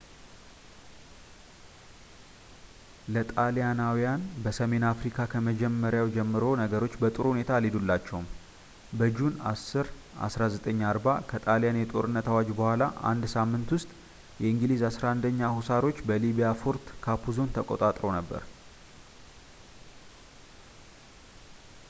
ለጣሊያናውያን በሰሜን አፍሪካ ከመጀመሪያው ጀምሮ ነገሮች በጥሩ ሁኔታ አልሄዱላቸውም በጁን 10 1940 ከጣሊያን የጦርነት አዋጅ በኋላ በአንድ ሳምንት ውስጥ የእንግሊዝ 11ኛ ሁሳሮች በሊቢያ ፎርት ካፑዞን ተቀጣጥረው ነበር